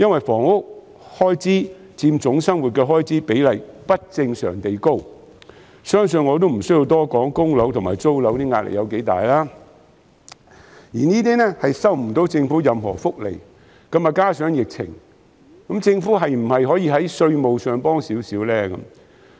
房屋開支佔總生活開支的比例不正常地高，相信我也不需要多說供樓及租樓的壓力有多大，他們卻收不到政府任何福利；再加上疫情，政府可否在稅務上提供少許支援？